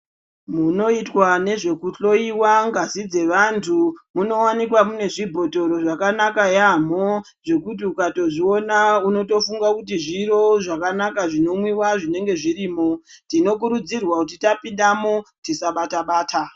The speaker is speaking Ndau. Munoitwa nezvekuhloyiwa ngazi dzavantu munowanika munezvibhodhoro zvakanaka yamhoo zvekuti ukatozviona unotofunga kuti zviro zvakanaka zvinomwiwa zvinenge zvirimo. Tinokurudzirwaa kuti tapindamo tisabata bata.